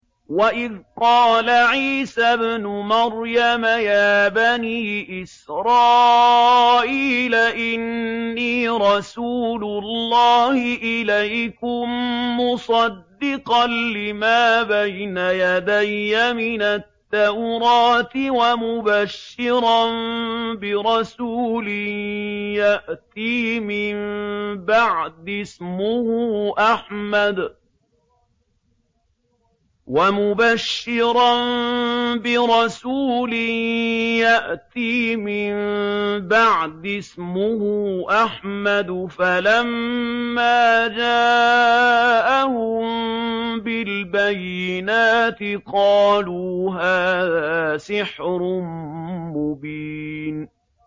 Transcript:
وَإِذْ قَالَ عِيسَى ابْنُ مَرْيَمَ يَا بَنِي إِسْرَائِيلَ إِنِّي رَسُولُ اللَّهِ إِلَيْكُم مُّصَدِّقًا لِّمَا بَيْنَ يَدَيَّ مِنَ التَّوْرَاةِ وَمُبَشِّرًا بِرَسُولٍ يَأْتِي مِن بَعْدِي اسْمُهُ أَحْمَدُ ۖ فَلَمَّا جَاءَهُم بِالْبَيِّنَاتِ قَالُوا هَٰذَا سِحْرٌ مُّبِينٌ